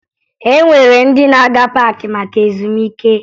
E nwere ndị na-aga paakị maka ezumike